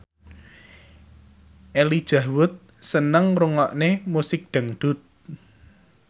Elijah Wood seneng ngrungokne musik dangdut